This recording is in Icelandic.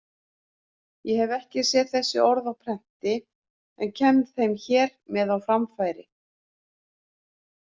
Ég hef ekki séð þessi orð á prenti en kem þeim hér með á framfæri.